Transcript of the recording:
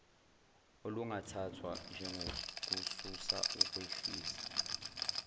okungathathwa njengokususa ukwehlisa